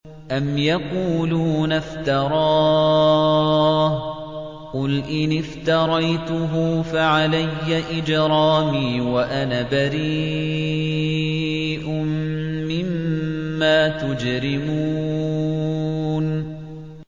أَمْ يَقُولُونَ افْتَرَاهُ ۖ قُلْ إِنِ افْتَرَيْتُهُ فَعَلَيَّ إِجْرَامِي وَأَنَا بَرِيءٌ مِّمَّا تُجْرِمُونَ